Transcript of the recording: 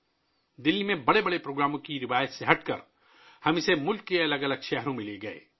دلّی میں بڑے بڑے پروگرام منعقد کرنے کی روایت سے ہٹ کر ، ہم انہیں ملک کے الگ الگ شہروں میں لے گئے